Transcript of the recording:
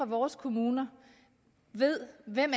vores kommuner ved hvem